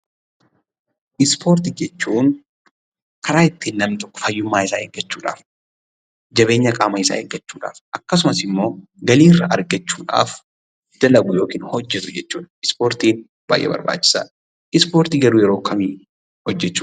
Ispoortii jechuun karaa ittin namni tokko fayyummaa isaa eegachuudhaaf, jabeenyaa qaama isa eeggachuudhaaf, akkasumaas immoo galii irra argachuudhaaf hojeetu yookaan dalaguu jechuudha. Ispoortiin baay'ee barbachisaadha. Ispoortii garuu yeroo kam hojechuu dandeenya?